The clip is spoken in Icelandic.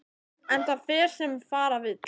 En það fer sem fara vill.